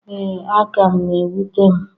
Ee, aka m na-ewute m